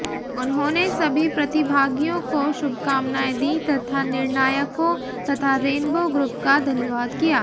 उन्होंने सभी प्रतिभागियों को शुभकामनाएं दीं तथा निर्णायकों तथा रेनबो ग्रुप का धन्यवाद किया